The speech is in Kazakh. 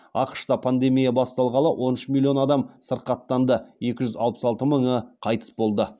ақш та пандемия басталғалы он үш миллион адам сырқаттанды екі жүз алпыс алты мыңы қайтыс болды